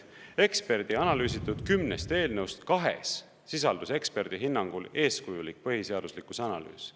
Eksperdi analüüsitud kümnest eelnõust kahes sisalduse eksperdi hinnangul eeskujulik põhiseaduslikkuse analüüs.